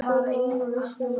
Þarna væri fólk á öllum aldri